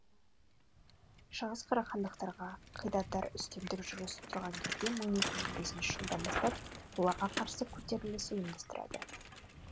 шығыс қарахандықтарға қидандар үстемдік жүргізіп тұрған кезде мың екі жүз бесінші жылдан бастап оларға қарсы көтеріліс ұйымдастырады